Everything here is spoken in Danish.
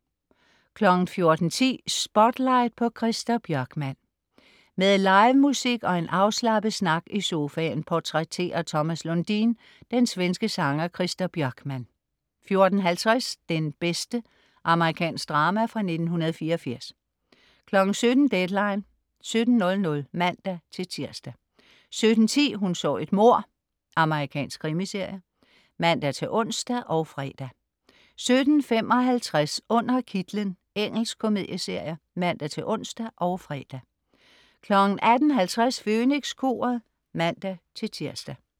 14.10 Spotlight på Christer Björkman. Med livemusik og en afslappet snak i sofaen portrætterer Thomas Lundin den svenske sanger Christer Björkman 14.50 Den bedste. Amerikansk drama fra 1984 17.00 Deadline 17.00 (man-tirs) 17.10 Hun så et mord. Amerikansk krimiserie (man-ons og fre) 17.55 Under kitlen. Engelsk komedieserie (man-ons og fre) 18.50 Fønikskoret (man-tirs)